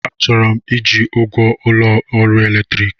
Achọrọ m iji ụgwọ ụlọ ọrụ electicity